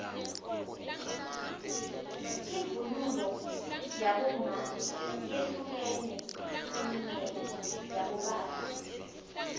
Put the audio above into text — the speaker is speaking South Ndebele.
ivunulo yabomma yehlukene kuneyabobaba